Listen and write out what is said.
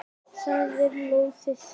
Það er lóðið.